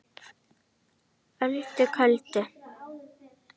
Öldu köldu